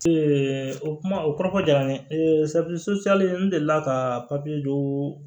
o kuma o kɔrɔfɔ diyara n ye safinɛ so n delila ka papiye dɔ